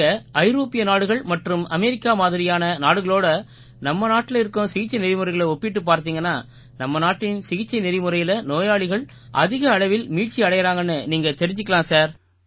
நீங்க ஐரோப்பிய நாடுகள் மற்றும் அமெரிக்கா மாதிரியான நாடுகளோடு நம்ம நாட்டில இருக்கும் சிகிச்சை நெறிமுறைகளை ஒப்பிட்டுப் பார்த்தீங்கன்னா நம்ம நாட்டின் சிகிச்சை நெறிமுறையால நோயாளிகள் அதிக அளவில மீட்சி அடையறாங்கன்னு நீங்க தெரிஞ்சுக்கலாம் சார்